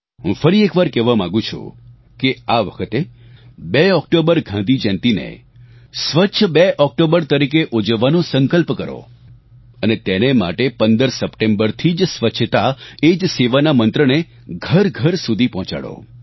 હું ફરી એકવાર કહેવા માગું છું કે આ વખતે 2 ઓક્ટોબર ગાંધી જયંતીને સ્વચ્છ 2 ઓક્ટોબર તરીકે ઉજવવાનો સંકલ્પ કરો અને તેને માટે 15 સપ્ટેમ્બરથી જ સ્વચ્છતા એ જ સેવા ના મંત્રને ઘરઘર સુધી પહોંચાડો